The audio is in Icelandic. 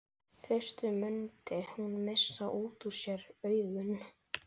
Fyrst mundi hún missa út úr sér augun.